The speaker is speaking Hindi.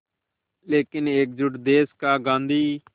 लेकिन एकजुट देश का गांधी